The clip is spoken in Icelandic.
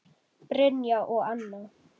Brynjar og Anna.